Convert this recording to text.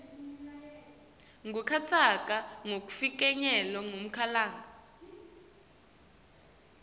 kungatsatsa kufinyelela kumalanga